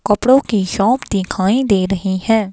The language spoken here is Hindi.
कपड़ों की शॉप दिखाई दे रही हैं।